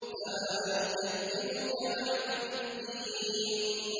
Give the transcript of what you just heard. فَمَا يُكَذِّبُكَ بَعْدُ بِالدِّينِ